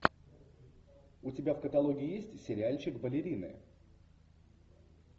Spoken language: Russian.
у тебя в каталоге есть сериальчик балерины